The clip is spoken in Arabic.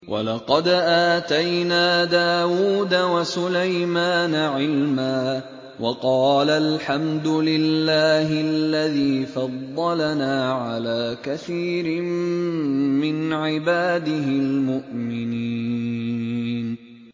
وَلَقَدْ آتَيْنَا دَاوُودَ وَسُلَيْمَانَ عِلْمًا ۖ وَقَالَا الْحَمْدُ لِلَّهِ الَّذِي فَضَّلَنَا عَلَىٰ كَثِيرٍ مِّنْ عِبَادِهِ الْمُؤْمِنِينَ